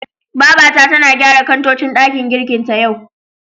Babata tana gyara kantocin ɗakin girkin ta, yau.